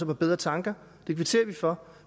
på bedre tanker og det kvitterer vi for